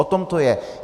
O tom to je.